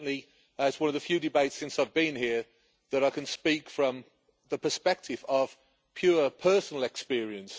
It is one of the few debates since I've been here that I can speak from the perspective of pure personal experience.